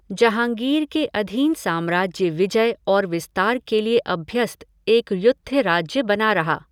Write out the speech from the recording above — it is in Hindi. जहाँगीर के अधीन साम्राज्य विजय और विस्तार के लिए अभ्यस्त एक युद्ध राज्य बना रहा।